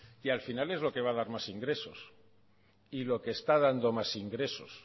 que al final es lo que va a dar más ingresos y lo que está dando más ingresos